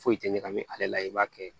Foyi tɛ ɲagami ale la i b'a kɛ